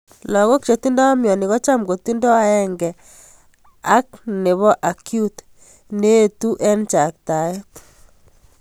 Lagok che tindoi mioni kocham kotindoi aenge ap nopo Acute, ne etu ing chaktaet.